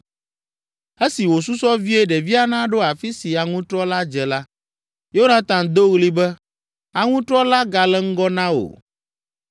Esi wòsusɔ vie ɖevia naɖo afi si aŋutrɔ la dze la, Yonatan do ɣli be, “Aŋutrɔ la gale ŋgɔ na wò.